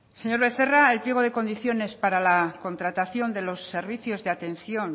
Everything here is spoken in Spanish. señor becerra el pliego de condiciones para la contratación de los servicios de atención